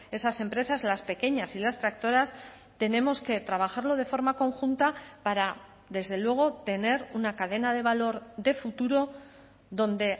esas empresas las pequeñas y las tractoras tenemos que trabajarlo de forma conjunta para desde luego tener una cadena de valor de futuro donde